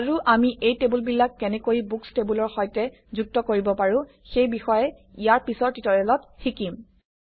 আৰু আমি এই টেবুলবিলাক কেনেকৈ বুকচ্ টেবুলৰ সৈতে যুক্ত কৰিব পাৰোঁ সেই বিষয়ে ইয়াৰ পিছৰ টিউটৰিয়েলত শিকিম